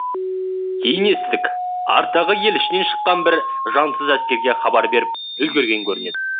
кейін естідік арттағы ел ішінен шыққан бір жансыз әскерге хабар беріп үлгерген көрінеді